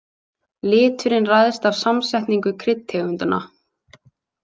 Liturinn ræðst af samsetningu kryddtegundanna.